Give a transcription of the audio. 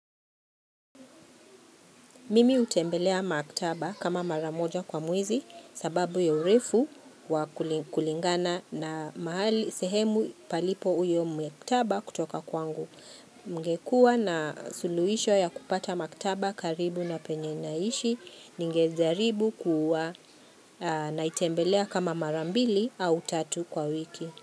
Mimi hutembelea maktaba kama mara moja kwa mwezi sababu ya urefu wa kulingana na mahali sehemu palipo uyo maktaba kutoka kwangu. Kungekua na suluhisho ya kupata maktaba karibu na penye naishi ningejaribu kuwa naitembelea kama mara mbili au tatu kwa wiki.